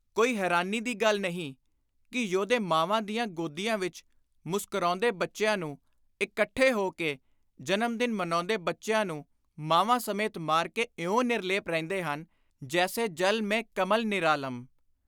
ਕੋਈ ਹੈਰਾਨੀ ਦੀ ਗੱਲ ਨਹੀਂ ਕਿ ਯੋਧੇ ਮਾਵਾਂ ਦੀਆਂ ਗੋਦੀਆਂ ਵਿਚ ਮੁਸਕਰਾਉਂਦੇ ਬੱਚਿਆਂ ਨੂੰ, ਇਕੱਠੇ ਹੋ ਕੇ ਜਨਮ ਦਿਨ ਮਨਾਉਂਦੇ ਬੱਚਿਆਂ ਨੂੰ ਮਾਵਾਂ ਸਮੇਤ ਮਾਰ ਕੇ ਇਉਂ ਨਿਰਲੇਪ ਰਹਿੰਦੇ ਹਨ, “ਜੈਸੇ ਜਲ ਮਹਿ ਕਮਲ ਨਿਰਾਲਮ ।